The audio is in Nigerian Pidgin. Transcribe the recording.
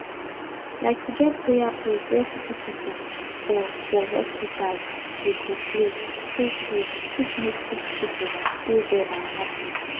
like to get prayer place where sicki pipu for for hospitas dey go pray tru tru fit make sicki pple dey well and happy